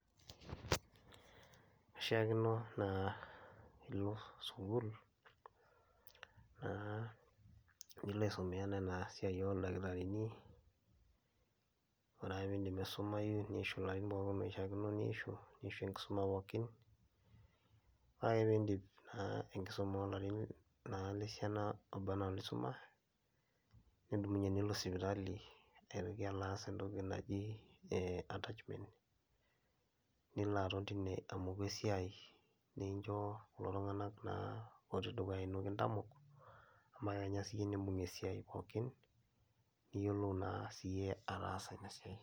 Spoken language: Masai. Ishaakino naa piilo sukuul naa piilo aisomea nena siai ooldakitarini, ore ake piindip aisumayu niishu larin pookin oishaakino niishu, nishu enkisuma pookin. Ore ake piindip naa enkisuma oo larin naa lesiana ooba naa lisuma, nidumunye nilo sipitali aitoki alo aas entoki naji ee attachment, nilo aton tine amoku esiai nincho kulo tung'anak naa ootii dukuya ino kintamok shomo akenya siyie niimbung' esiai pookin, niyiolou naa siyie ataasa ina siai.